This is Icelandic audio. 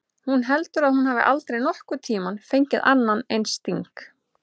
Hún heldur að hún hafi aldrei nokkurn tímann fengið annan eins sting.